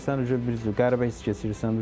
Gəlirsən bir cür qəribə hiss keçirirsən.